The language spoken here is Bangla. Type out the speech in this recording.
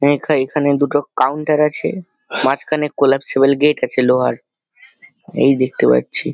হ্যাঁ এখা-এখানে দুটো কাউন্টার আছে। মাঝখানে কোলাপ্সিপল গেট আছে লোহার এই দেখতে পাচ্ছি।